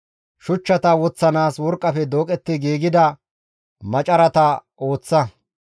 Shuchchata woththanaas worqqafe dooqetti giigida macarata ooththa.